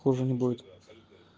хуже не будет